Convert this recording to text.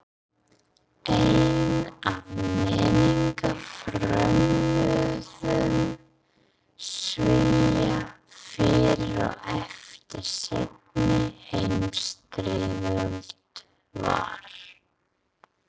Einn af menningarfrömuðum Svía fyrir og eftir seinni heimsstyrjöld var